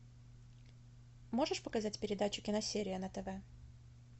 можешь показать передачу киносерия на тв